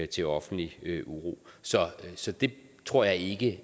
til offentlig uro så så det tror jeg ikke